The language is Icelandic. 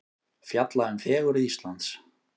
Fjalla um fegurð Íslands